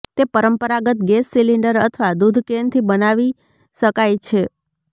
તે પરંપરાગત gas cylinder અથવા દૂધ કેન થી બનાવી શકાય છે